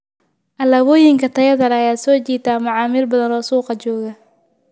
Alaabooyinka tayada leh ayaa soo jiita macaamiil badan oo suuqa jooga.